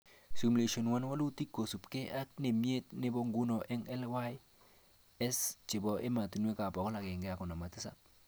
Simulation 1, walutik kosubke ake nemite nebo nguno eng LAYS chebo ematnwek 157